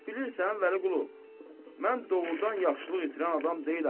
Bilirsən, Vəliqulu, mən doğurdan yaxşılıq itirən adam deyiləm.